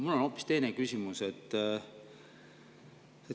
Mul on aga hoopis teine küsimus.